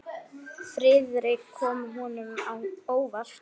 Friðrik kom honum á óvart.